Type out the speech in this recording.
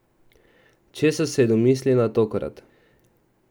Česa se je domislila tokrat?